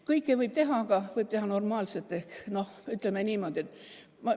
Kõike võib teha, aga võib teha normaalselt.